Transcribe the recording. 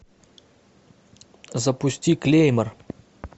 запусти клеймор